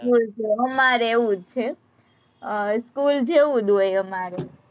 school છે, અમારેય એવું જ છે, અમ school જેવું જ હોય અમારે